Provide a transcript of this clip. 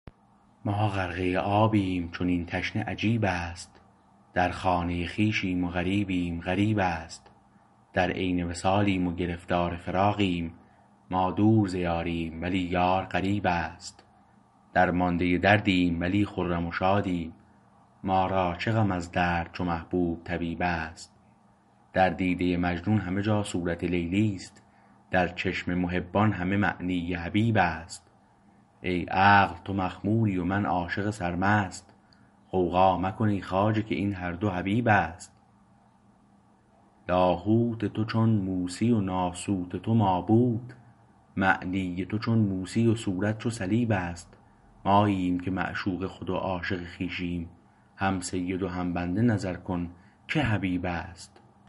ما غرقه آبیم چنین تشنه عجیبست در خانه خویشیم و غریبیم غریبست در عین وصالیم و گرفتار فراقیم ما دور ز یاریم ولی یار قریبست درمانده دردیم ولی خرم و شادیم ما را چه غم از درد چو محبوب طبیبست در دیده مجنون همه جا صورت لیلی است در چشم محبان همه معنی حبیب است ای عقل تو مخموری و من عاشق سرمست غوغا مکن ای خواجه که این هردو حبیبست لاهوت تو چون موسی و ناسوت تو مابوت معنی تو چون موسی و صورت چو صلیبست ماییم که معشوق خود و عاشق خویشیم هم سید و هم بنده نظر کن که حبیبست